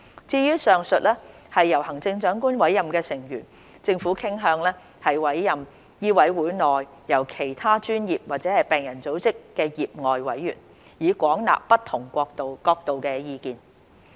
至於上述由行政長官委任的成員，政府傾向委任醫委會內來自其他專業或病人組織的業外委員，以廣納不同角度的意見。